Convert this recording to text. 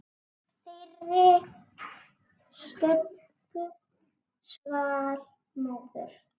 Þeirri stuttu svall móður.